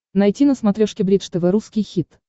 найти на смотрешке бридж тв русский хит